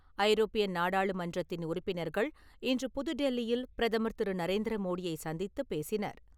ஐரோப்பிய நாடாளுமன்றத்தின் உறுப்பினர்கள் இன்று புது டெல்லியில் பிரதமர் திரு. நரேந்திர மோடியைச் சந்தித்து பேசினர்.